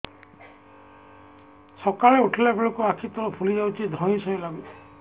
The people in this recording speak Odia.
ସକାଳେ ଉଠିଲା ବେଳକୁ ଆଖି ତଳ ଫୁଲି ଯାଉଛି ଧଇଁ ସଇଁ ଲାଗୁଚି